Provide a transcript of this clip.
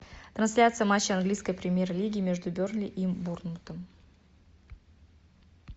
трансляция матча английской премьер лиги между бернли и борнмутом